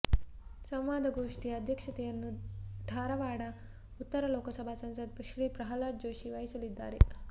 ಸಂವಾದ ಗೋಷ್ಠಿಯ ಅಧ್ಯಕ್ಷತೆಯನ್ನು ಢಾರವಾಡ ಉತ್ತರ ಲೋಕಸಭಾ ಸಂಸದ ಶ್ರೀ ಪ್ರಹ್ಲಾದ ಜೋಶಿ ವಹಿಸಲಿದ್ದಾರೆ